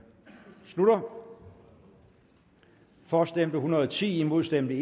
slutter for stemte en hundrede og ti imod stemte